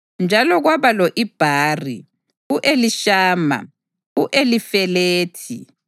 Njalo kwaba lo-Ibhari, u-Elishama, u-Elifelethi,